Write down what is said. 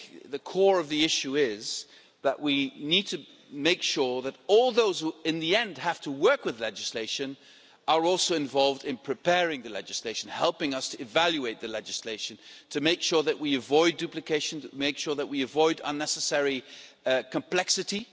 The core of the issue is that we need to make sure that all those who in the end have to work with legislation are also involved in preparing the legislation, helping us to evaluate the legislation, to make sure that we avoid duplication, to make sure that we avoid unnecessary complexity.